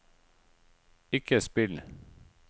ikke spill